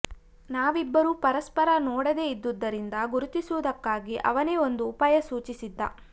ನಾವಿಬ್ಬರೂ ಪರಸ್ಪರ ನೋಡದೇ ಇದ್ದುದರಿಂದ ಗುರುತಿಸುವುದಕ್ಕಾಗಿ ಅವನೇ ಒಂದು ಉಪಾಯ ಸೂಚಿಸಿದ್ದ